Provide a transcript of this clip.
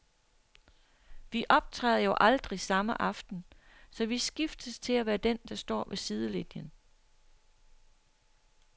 Vi optræder jo aldrig samme aften, så vi skiftes til at være den, der står ved sidelinien.